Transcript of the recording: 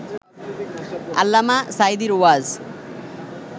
আল্লামা সাঈদীর ওয়াজ